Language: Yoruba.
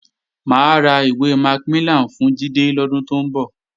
Mà á ra ìwé Macmillian fún Jídé lọ́dún tó ń bọ̀